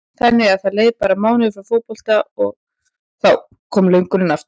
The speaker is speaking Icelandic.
Þannig að það leið bara mánuður frá fótbolta og þá kom löngunin aftur?